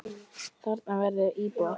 Þarna verði íbúðir.